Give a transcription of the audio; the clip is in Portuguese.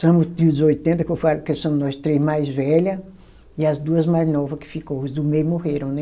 Somos o trios oitenta, que eu falo que somos nós três mais velha, e as duas mais nova que ficou, os do meio morreram, né?